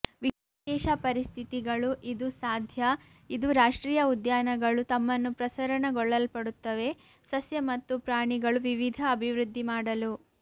ವಿಶೇಷ ಪರಿಸ್ಥಿತಿಗಳು ಇದು ಸಾಧ್ಯ ಇದು ರಾಷ್ಟ್ರೀಯ ಉದ್ಯಾನಗಳು ತಮ್ಮನ್ನು ಪ್ರಸರಣಗೊಳ್ಳಲ್ಪಡುತ್ತವೆ ಸಸ್ಯ ಮತ್ತು ಪ್ರಾಣಿಗಳು ವಿವಿಧ ಅಭಿವೃದ್ಧಿ ಮಾಡಲು